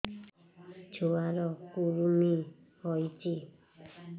ଛୁଆ ର କୁରୁମି ହୋଇଛି